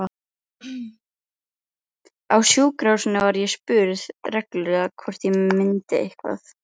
Á sjúkrahúsinu var ég spurð reglulega hvort ég myndi eitthvað.